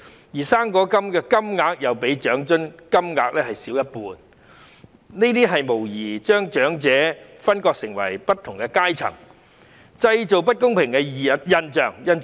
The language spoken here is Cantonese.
此外，"生果金"的金額亦較長津金額少一半，這無疑把長者分化為不同的階層，製造不公平的現象。